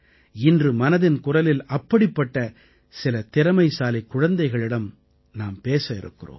இன்று மனதின் குரலில் அப்படிப்பட்ட சில திறமைசாலிக் குழந்தைகளிடம் நாம் பேச இருக்கிறோம்